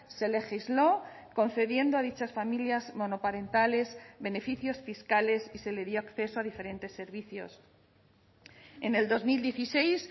se legisló concediendo a dichas familias monoparentales beneficios fiscales y se le dio acceso a diferentes servicios en el dos mil dieciséis